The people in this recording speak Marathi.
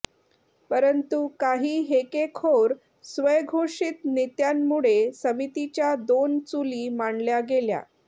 परंतु काही हेकेखोर स्वयंघोषित नेत्यांमुळे समितीच्या दोन चुली मांडल्या गेल्या